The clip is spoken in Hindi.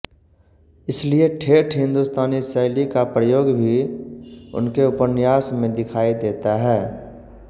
इसलिए ठेठ हिन्दुस्तानी शैली का प्रयोग भी उनके उपन्यास में दिखायी देता है